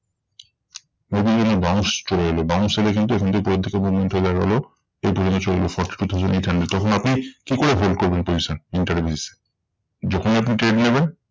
দেখবেন যেন bounce চলে এলো bounce এলে কিন্তু এখান থেকে থেকে movement হয়ে দাঁড়ালো এই পর্যন্ত চলে এলো forty two thousand eight hundred. তখন আপনি কি করে hold করবেন position intraday basis এ? যখন আপনি trade নেবেন